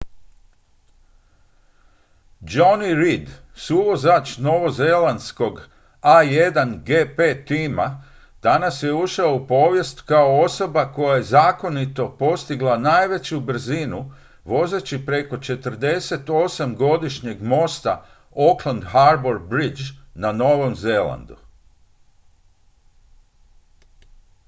jonny reid suvozač novozelandskog a1gp tima danas je ušao u povijest kao osoba koja je zakonito postigla najveću brzinu vozeći preko 48-godišnjeg mosta auckland harbour bridge na novom zelandu